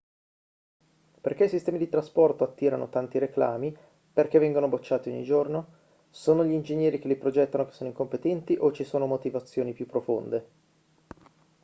perché i sistemi di trasporto attirano tanti reclami perché vengono bocciati ogni giorno sono gli ingegneri che li progettano che sono incompetenti o ci sono motivazioni più profonde